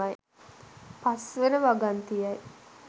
පස් වන වගන්තියයි.